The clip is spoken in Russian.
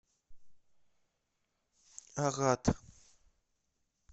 агат